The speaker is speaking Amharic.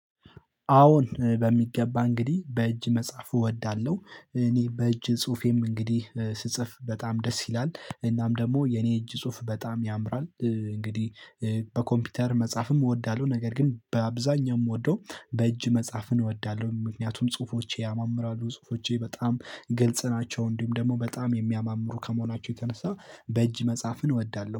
አወን በሚገባ እንግዲህ በእጅ መጻፍ እወዳለሁ። እኔ በእጅ ፁሁፌም እንግዲህ ስጽፍ በጣም ደስ ይላል። እናም ደግሞ የኔ እጅ ጽሁፍ በጣም ያምራል እንግዲህ በኮምፒውተር መጻፍም እወዳለሁ። ነገረ ግን በአብዛኛው ምወደው በእጅ መፃፍን እወዳለሁ። ምክንያቱም ፁሁፎቼ ያማምራሉ፣ ፁሁፎቼ በጣም ግልጽ ናቸው። ፁሁፎቼም በጣም የሚያማምሩ ከመሆናቸው የተነሳ በእጅ መፃፍን እወዳለሁ።